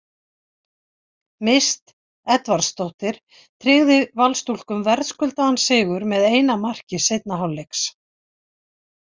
Mist Edvardsdóttir tryggði Valsstúlkum verðskuldaðan sigur með eina marki seinni hálfleiks.